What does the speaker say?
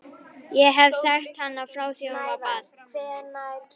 Ég hef þekkt hana frá því að hún var barn.